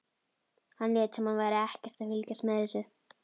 Hann lét sem hann væri ekkert að fylgjast með þessu.